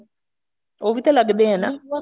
ਉਹ ਵੀ ਤਾਂ ਲੱਗਦੇ ਐ ਨਾ